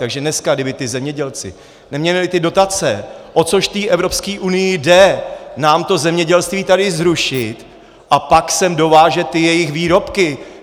Takže dneska kdyby ti zemědělci neměli ty dotace - o což té Evropské unii jde, nám to zemědělství tady zrušit, a pak sem dovážet ty jejich výrobky.